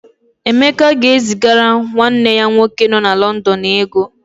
Emeka ga-ezigara nwanne ya nwoke nọ na Lọndọn ego.